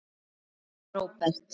Jón Róbert.